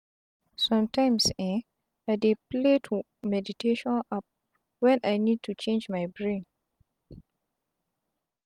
sometimes eh i dey play to meditation app when i need to change my brain.